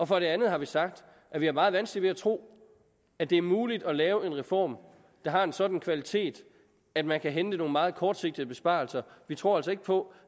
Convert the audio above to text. for det andet har vi sagt at vi har meget vanskeligt ved at tro at det er muligt at lave en reform der har en sådan kvalitet at man kan hente nogle meget kortsigtede besparelser vi tror altså ikke på